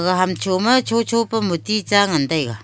ega ham cho ma cho cho pe moti ta ngan tai ga.